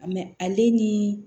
ale ni